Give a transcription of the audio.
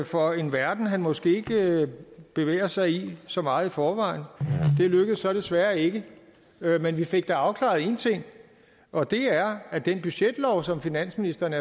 for en verden han måske ikke bevæger sig i så meget i forvejen det lykkedes så desværre ikke men vi fik da afklaret en ting og det er at den budgetlov som finansministeren